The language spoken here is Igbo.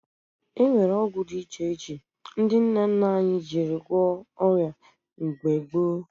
E nwere ọgwụ dị iche iche ndị nna nna anyị ji gwọọ ọrịa mgbe gboo